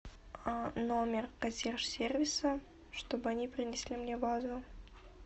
номер консьерж сервиса чтобы они принесли мне вазу